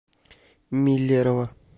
миллерово